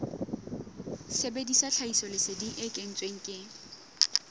sebedisa tlhahisoleseding e kentsweng ke